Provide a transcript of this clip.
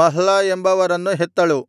Mahlah ಎಂಬವರನ್ನು ಹೆತ್ತಳು